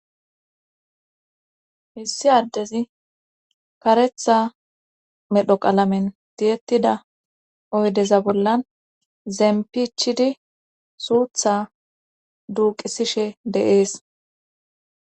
Hissi addezi karetha medho qalamen diyettida oydeza bollan zempichidi suutha duuqisishe deees